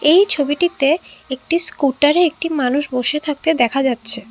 এই ছবিটিতে একটি স্কুটারে একটি মানুষ বসে থাকতে দেখা যাচ্ছে।